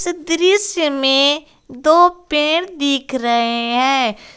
दृश्य में दो पेड़ दिख रहे हैं।